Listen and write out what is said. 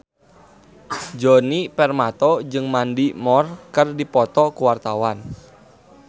Djoni Permato jeung Mandy Moore keur dipoto ku wartawan